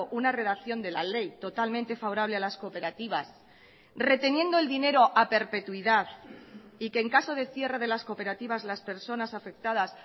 una redacción de la ley totalmente favorable a las cooperativas reteniendo el dinero a perpetuidad y que en caso de cierre de las cooperativas las personas afectadas